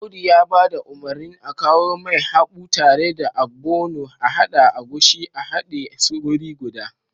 Audu ya ba da umarnin akawomai haɓu tare da ogbono ahada agushi a hade su wuri guda